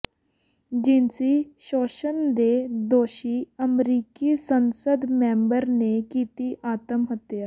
ਜਿਨਸੀ ਸ਼ੋਸ਼ਣ ਦੇ ਦੋਸ਼ੀ ਅਮਰੀਕੀ ਸੰਸਦ ਮੈਂਬਰ ਨੇ ਕੀਤੀ ਆਤਮਹੱਤਿਆ